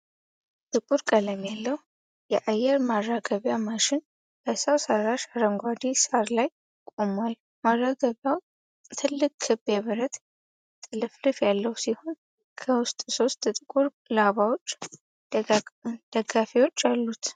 ጥቁር ቀለም ያለው የአየር ማራገቢያ ማሽን በሰው ሰራሽ አረንጓዴ ሳር ላይ ቆሟል። ማራገቢያው ትልቅ ክብ የብረት ጥልፍልፍ ያለው ሲሆን፣ ከውስጥ ሶስት ጥቁር ላባዎች (ደጋፊዎች) አሉት።